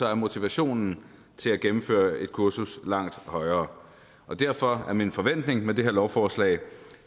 er motivationen til at gennemføre et kursus langt højere derfor er min forventning med det her lovforslag